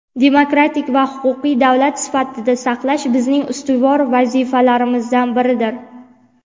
demokratik va huquqiy davlat sifatida saqlash bizning ustuvor vazifalarimizdan biridir.